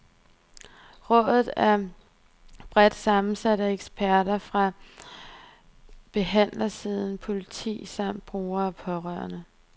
Rådet er bredt sammensat af eksperter fra behandlersiden, politi samt brugere og pårørende.